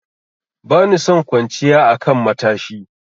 Bani son kwanciya a kan matashi.